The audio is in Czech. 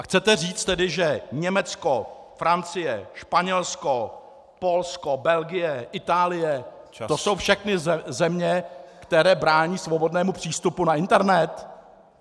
A chcete říct tedy, že Německo, Francie, Španělsko, Polsko, Belgie, Itálie - to jsou všechno země, které brání svobodnému přístupu na internet?